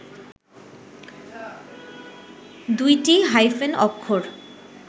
দুইটি হাইফেন অক্ষর